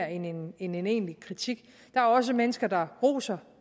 end en en egentlig kritik der er også mennesker der roser